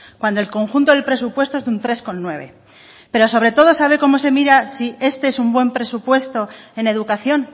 cuando el conjunto del presupuesto es de un tres coma nueve por ciento pero sobre todo sabe cómo se mide si este es un buen presupuesto en educación